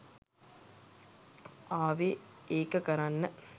ආවෙ ඒක කරන්න?